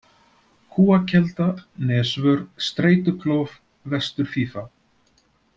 Kúakelda, Nesvör, Streituklof, Vestur-Fífa